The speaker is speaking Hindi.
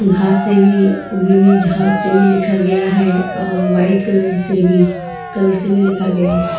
घास से भी उगी हुई घास से भी लिखा गया है और व्हाइट कलर से भी कलर से भी लिखा गया है।